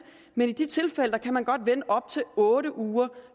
men i de tilfælde kan man godt vente op til otte uger